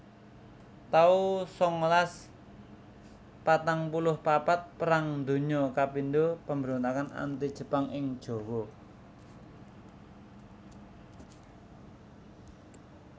taun sangalas patang puluh papat Perang Donya kapindho Pambrontakan Anti Jepang ing Jawa